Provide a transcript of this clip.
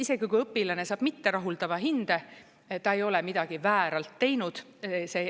Isegi kui õpilane saab mitterahuldava hinde, ta ei ole midagi vääralt teinud.